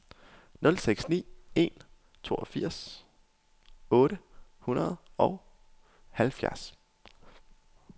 nul seks ni en toogfirs otte hundrede og halvfjerds